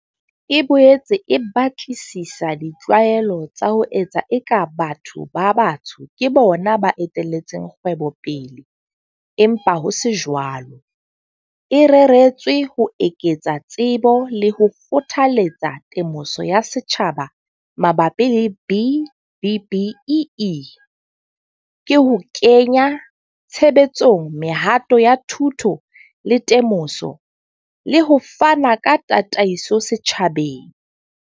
E boetse e batlisisa di tlwaelo tsa ho etsa eka batho ba batsho ke bona ba etellang kgwebo pele empa ho se jwalo, e reretswe ho eketsa tsebo le ho kgothaletsa temoso ya setjhaba mabapi le B-BBEE, ka ho kenya tshebetsong mehato ya thuto le temoso, le ho fana ka tataiso setjhabeng.